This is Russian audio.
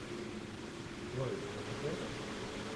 джой неужели